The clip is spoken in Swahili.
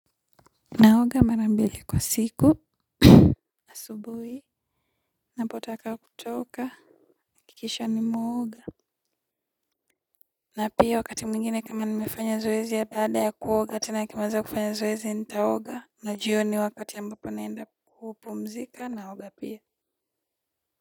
Naoga mara mbili kwa siku asubuhi napotaka kutoka hakikisha nimeoga na pia wakati mwingine kama nimefanya zoezi ya baada ya kuoga tena akimaliza kufanya zoezi nitaoga na jioni wakati ambapo naenda kupumzika naoga pia.